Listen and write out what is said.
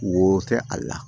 Wo kɛ a la